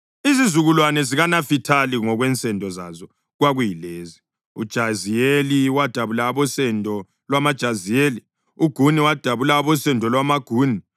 Izizukulwane zikaNafithali ngokwensendo zazo kwakuyilezi: uJaziyeli wadabula abosendo lwamaJaziyeli; uGuni wadabula abosendo lwamaGuni;